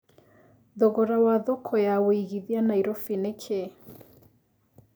thogora wa thoko ya wĩigĩthĩa Nairobi nĩ kĩĩ